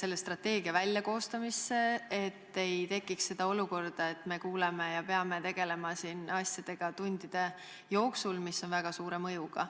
selle strateegia koostamisse, et ei tekiks olukorda, et me peame tegelema siin mõne tunni jooksul otsustega, mis on väga suure mõjuga?